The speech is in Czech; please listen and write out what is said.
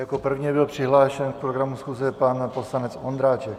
Jako první byl přihlášen k programu schůze pan poslanec Ondráček.